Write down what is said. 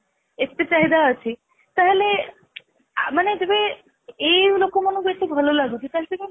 ଏତେ ଚାହିଦା ଅଛି ତାହାଲେ ମାନେ ଯେବେ ଏଇ ଲୋକମାନଙ୍କୁ ଏତେ ଭାଲ ଲାଗୁଛି ତାହାଲେ